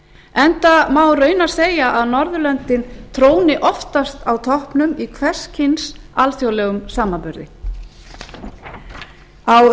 enda má raunar segja að norðurlöndin tróni oftast á toppnum í hvers kyns alþjóðlegum samanburði á